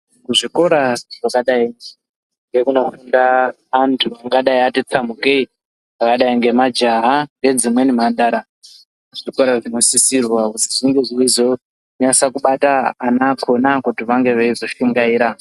Kuzvikora zvakadayi ngekunofunda antu angadayi ati tsambukei akadayi ngemajaha ngedzimweni mhandara dzinosisirwa kuti dzinge dzeizonyasa kubata vana vakona kuti vange veizoshingaira.